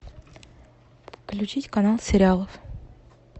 включить канал сериалов